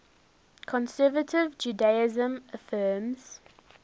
conservative judaism affirms